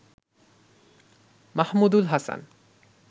Mahamudul Hasan